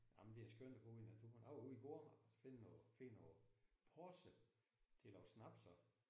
Jamen det er skønt at bo i naturen jeg var ude i går og så finde finde noget porse til at lave snaps af